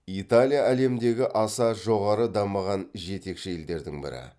италия әлемдегі аса жоғары дамыған жетекші елдердің бірі